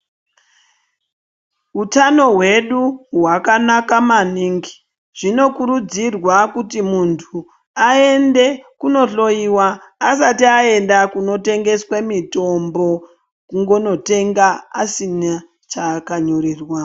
Hutano hwedu hwakanaka maningi , zvinokurudzirwaa kuti muntu ayende kundohloyiwa asati aenda kunotengeswe mitombo, kungonotenga asina chaakanyorerwaa.